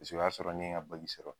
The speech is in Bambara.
Paseke o y'a sɔrɔ n ye n ka sɔrɔ.